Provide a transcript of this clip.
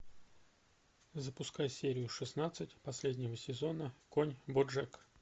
запускай серию шестнадцать последнего сезона конь боджек